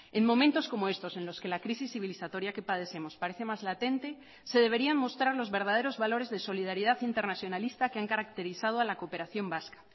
en momentos como estos en los que la crisis civilizatoria que padecemos parece más latente se deberían mostrar los verdaderos valores de solidaridad internacionalista que han caracterizado a la cooperación vasca